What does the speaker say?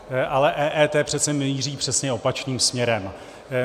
Ale EET přece míří přesně opačným směrem.